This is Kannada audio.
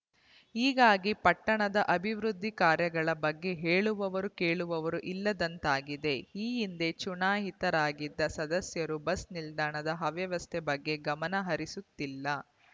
ಹೀಗಾಗಿ ಪಟ್ಟಣದ ಅಭಿವೃದ್ಧಿ ಕಾರ್ಯಗಳ ಬಗ್ಗೆ ಹೇಳುವವರು ಕೇಳುವವರೂ ಇಲ್ಲದಂತಾಗಿದೆ ಈ ಹಿಂದೆ ಚುನಾಯಿತರಾಗಿದ್ದ ಸದಸ್ಯರೂ ಬಸ್‌ ನಿಲ್ದಾಣದ ಅವ್ಯವಸ್ಥೆ ಬಗ್ಗೆ ಗಮನಹರಿಸುತ್ತಿಲ್ಲ